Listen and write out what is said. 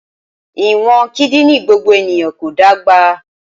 Ìwọ̀n kídìní gbogbo ènìyàn kò dọ́gba